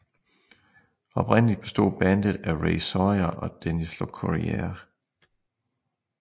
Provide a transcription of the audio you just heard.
Oprindeligt bestod bandet af Ray Sawyer og Dennis Locorriere